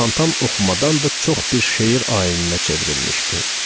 Spontan oxumadan da çox bir şeir ayininə çevrilmişdi.